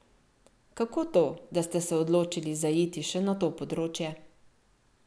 Kako to, da ste se odločili zaiti še na to področje?